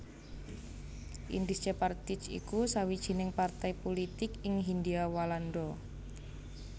Indische Partij iku sawijining partai pulitik ing Hindia Walanda